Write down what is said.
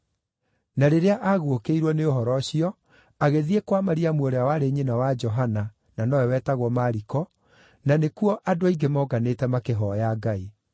Na rĩrĩa aguũkĩirwo nĩ ũhoro ũcio, agĩthiĩ kwa Mariamu ũrĩa warĩ nyina wa Johana, na nowe wetagwo Mariko, na nĩkuo andũ aingĩ monganĩte makĩhooya Ngai.